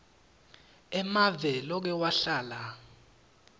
emave loke wahlala